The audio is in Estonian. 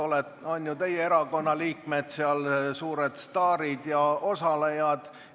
Olid ju teie erakonna liikmed seal suured staarid ja osalejad.